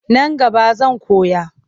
Nan gaba zan koya.